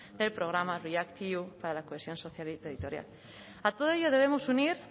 del programa react eu para la cohesión social y territorial a todo ello debemos unir